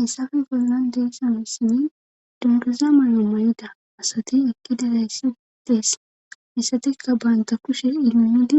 hissafe goznan deessanasani dundusa may7o may7ida asati ekki dizayssi tees misatikka baynta kushe ilnudi